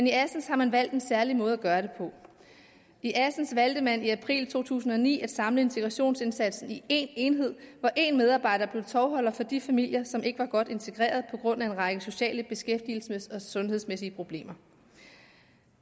i assens har man valgt en særlig måde at gøre det på i assens valgte man i april to tusind og ni at samle integrationsindsatsen i én enhed hvor én medarbejder blev tovholder for de familier som ikke var godt integrerede på grund af en række sociale beskæftigelsesmæssige og sundhedsmæssige problemer